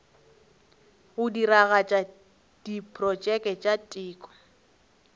go diragatša diprotšeke tša teko